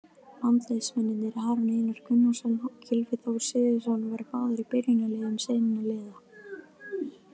Landsliðsmennirnir Aron Einar Gunnarsson og Gylfi Þór Sigurðsson voru báðir í byrjunarliðum sinna liða.